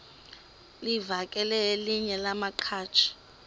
livakele elinye lamaqhaji